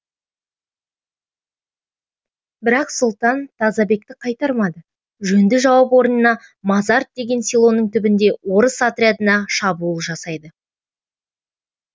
бірақ сұлтан тазабекті қайтармайды жөнді жауап орнына мазарт деген селоның түбінде орыс отрядына шабуыл жасайды